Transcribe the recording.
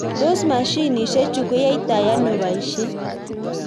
Tos mashinishe chu koyaitoi ano boishet?